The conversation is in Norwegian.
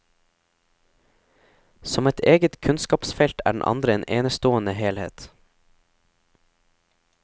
Som et eget kunnskapsfelt er den andre en enestående helhet.